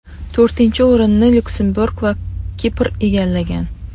To‘rtinchi o‘rinni Lyuksemburg va Kipr egallagan.